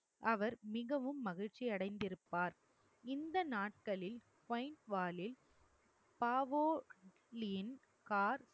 அவர் மிகவும் மகிழ்ச்சி அடைந்திருப்பார். இந்த நாட்களில்